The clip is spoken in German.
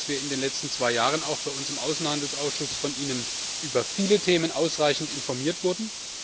Ich glaube, dass wir in den letzten zwei Jahren auch bei uns im Außenhandelsausschuss von Ihnen über viele Themen ausreichend informiert wurden.